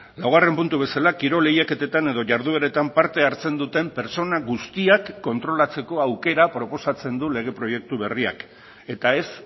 laugarren puntu bezala kirol lehiaketetan edo jardueretan parte hartzen duten pertsona guztiak kontrolatzeko aukera proposatzen du lege proiektu berriak eta ez